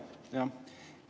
Jah.